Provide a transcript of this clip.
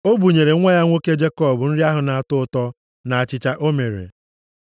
O bunyere nwa ya nwoke Jekọb nri ahụ na-atọ ụtọ, na achịcha o mere.